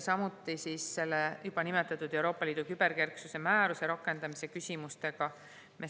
Samuti tegeleme juba nimetatud Euroopa Liidu küberkerksuse määruse rakendamise küsimustega.